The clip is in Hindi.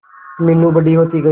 मीनू बड़ी होती गई